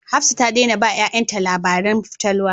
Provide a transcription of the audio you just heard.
Hafsat ta daina ba 'ya'yanta labarin fatalwa